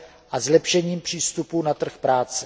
a zlepšení přístupu na trh práce.